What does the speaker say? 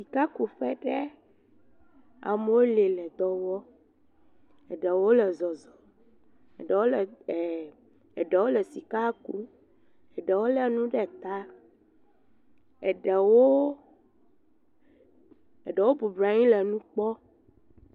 Sikakuƒe ɖe amewo li le dɔ wɔm. Eɖewo le zɔzɔm. Eɖewo le sika kum. Eɖowo le nu ɖe ta. Eɖewo bɔbɔ nɔ anyi le nu kpɔm.